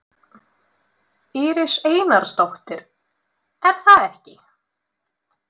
Íris Einarsdóttir: Er það ekki?